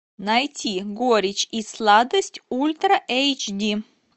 найти горечь и сладость ультра эйч ди